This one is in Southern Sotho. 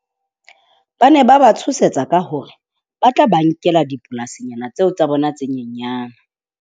Ba ne ba ba tshosetsa ka hore ba tla ba nkela dipolasinyana tseo tsa bona tse nyenyana.